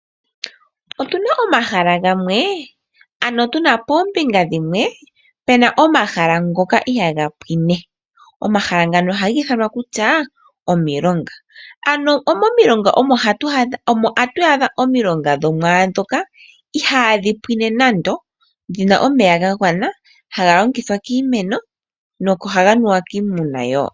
Otuna omahala gamwe, ano tuna poombinga dhimwe pena omahala ngoka ihaaga pwine. Omahala ngano ohaga ithanwa kutya omilonga, ano momilonga omo hatu adha omilonga dhomwaandhoka ihaadhi pwine nando, dhina omeya gagwana haga longithwa kiimeno nohaga nuwa kiimuna wo.